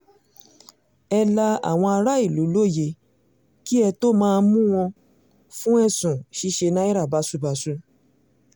ẹ la àwọn aráàlú lóyè kí ẹ tóó máa mú wọn fún ẹ̀sùn ṣíṣe náírà báṣubàṣu